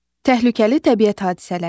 Təhlükəli təbiət hadisələri.